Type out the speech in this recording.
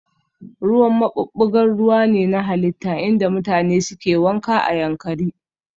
Ruwan maɓuɓɓugar ruwa ne na halitta inda mutane suke wanka a Yankari